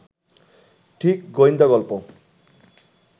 ঠিক গোয়েন্দা গল্প